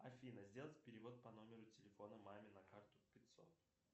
афина сделать перевод по номеру телефона маме на карту пятьсот